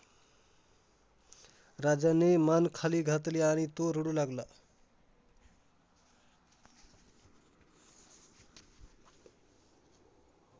राजाने मान खाली घातली आणि तो रडू लागला.